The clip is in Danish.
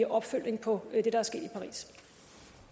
opfølgning på